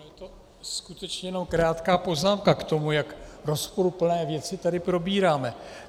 Je to skutečně jenom krátká poznámka k tomu, jak rozporuplné věci tady probíráme.